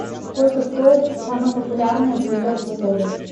сколько стоит самое популярное блюдо в отеле